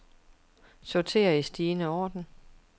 Sorter i stigende orden.